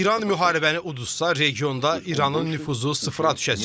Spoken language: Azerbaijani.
Əgər İran müharibəni udsa, regionda İranın nüfuzu sıfıra düşəcək.